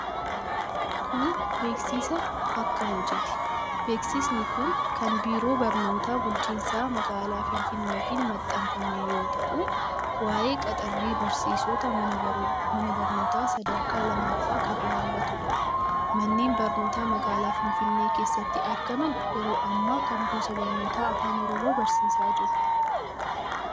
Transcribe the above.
Kun, beeksisa bakka hojiiti. Beeksisni kun kan biiroo barnootaa bulchiinsa magaalaa Finfinneetiin maxxanfame yoo ta'u, waa'ee qaxarrii barsiisota mana barnootaa sadarkaa lammaffaa kan ilaallatuu dha. Manneen barnootaa magaalaa Finfinnee keessatti argaman ,yeroo ammaa kana gosa barnootaa Afaan Oromoo barsiisaa jiru.